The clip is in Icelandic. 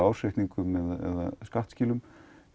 ársreikningum eða skattskilum